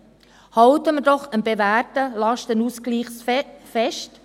Halten wir doch am bewährten Lastenausgleich fest!